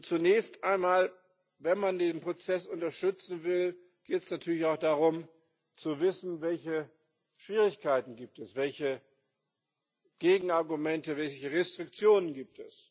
Zunächst einmal Wenn man diesen Prozess unterstützen will, geht es natürlich auch darum, zu wissen, welche Schwierigkeiten es gibt, welche Gegenargumente und welche Restriktionen es gibt.